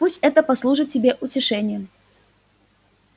пусть это послужит тебе утешением